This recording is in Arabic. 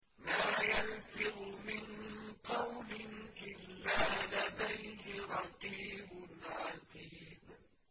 مَّا يَلْفِظُ مِن قَوْلٍ إِلَّا لَدَيْهِ رَقِيبٌ عَتِيدٌ